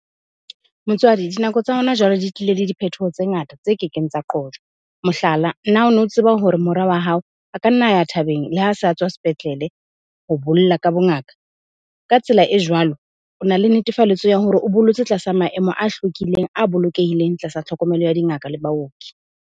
Motswadi, dinako tsa hona jwale di tlile le diphetoho tse ngata tse kekeng tsa qojwa. Mohlala, na ono tseba hore mora wa hao a ka nna a ya thabeng le ha sa tswa sepetlele ho bolla ka bongaka? Ka tsela e jwalo, o na le netefalletso ya hore o bollotse tlasa maemo a hlwekileng, a bolokehileng tlasa tlhokomelo ya dingaka le baoki.